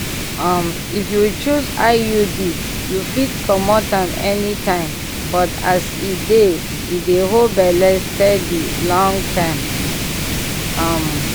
um if you choose iud you fit comot am anytime but as e dey e dey hold belle steady long-term pause. um